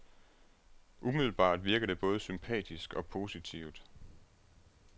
Umiddelbart virker det både sympatisk og positivt.